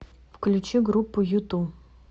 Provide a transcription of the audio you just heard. включи группу юту